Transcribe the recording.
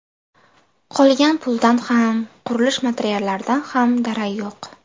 Qolgan puldan ham, qurilish materiallaridan ham darak yo‘q.